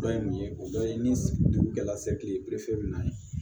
Dɔ ye mun ye o dɔ ye ni dugu jɛra sekiri na